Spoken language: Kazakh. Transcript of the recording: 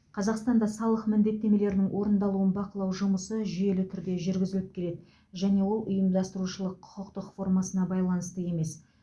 қазақстанда салық міндеттемелерінің орындалуын бақылау жұмысы жүйелі түрде жүргізіліп келеді және ол ұйымдастырушылық құқықтық формасына байланысты емес